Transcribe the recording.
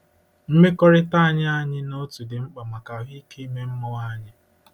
Mmekọrịta anyị anyị na otu dị mkpa maka ahụike ime mmụọ anyị.